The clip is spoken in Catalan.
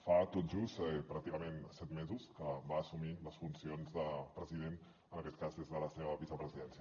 fa tot just pràcticament set mesos que va assumir les funcions de president en aquest cas des de la seva vicepresidència